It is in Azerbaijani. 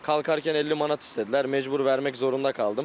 Qalxarkən 50 manat istədilər, məcbur vermək zorunda qaldım.